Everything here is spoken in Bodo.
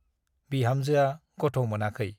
बिहामजोआ गथ' मोनाखै ।